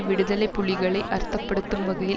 விடுதலை புலிகளை அர்த்தப்படுத்தும் வகையில்